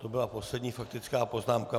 To byla poslední faktická poznámka.